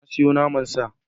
Na sayo naman sa.